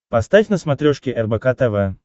поставь на смотрешке рбк тв